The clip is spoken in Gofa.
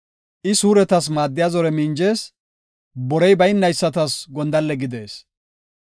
I suuretas maaddiya zore minjees; borey baynaysatas gondalle gidees.